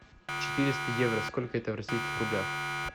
четыреста евро сколько это в российских рублях